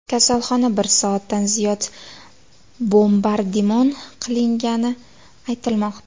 Kasalxona bir soatdan ziyod bombardimon qilingani aytilmoqda.